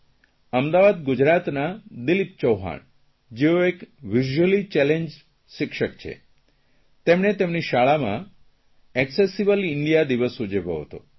અમદાવાદ ગુજરાતના દિલીપ ચૌહાણ જેઓ એક વિઝ્યુઅલી ચેલેન્જ્ડ શિક્ષક છે તેમણે તેમની શાળામાં એકસેસીબલ ઇન્ડિયા દિવસ ઉજવ્યો હતો